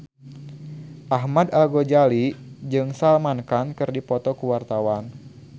Ahmad Al-Ghazali jeung Salman Khan keur dipoto ku wartawan